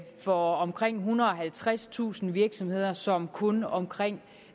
fra omkring ethundrede og halvtredstusind virksomheder som kun omkring